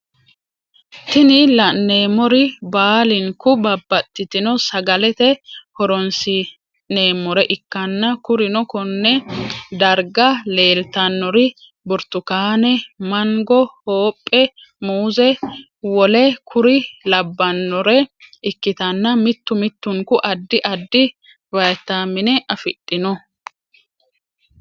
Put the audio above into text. Tini lanemori bablinku babatitino sagalete horonisinemore ikana kurino koone dariga lelitanori; burritukane, manngo, hophe, muze wole kuri labanore ikitana mittu mittunku adid adid vitamine afidhano